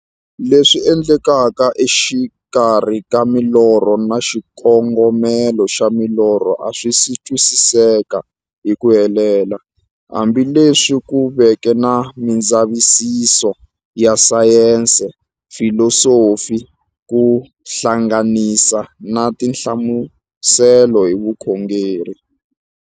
Leswi endlekaka exikarhi ka milorho na xikongomelo xa milorho a swisi twisisiwa hi ku helela, hambi leswi ku veke na mindzavisiso ya sayensi, filosofi ku hlanganisa na tinhlamuselo hi vukhongori.